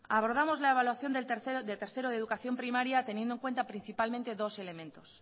abordamos la evaluación de tercero de educación primaria teniendo en cuenta principalmente dos elementos